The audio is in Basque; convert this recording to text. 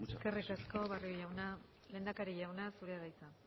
eskerrik asko barrio jauna lehendakari jauna zurea da hitza